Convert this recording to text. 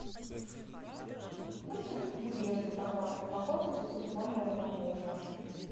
будьте любезны пожалуйста пополните телефон моего мужа